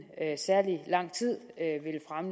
særlig lang tid